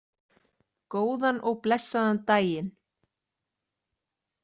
Góðan og blessaðan daginn!